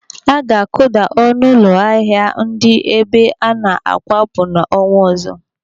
Aga akuda ọnụ ụlọ ahịa dị n'ebe ana-akwọpụ n'ọnwa ọzọ.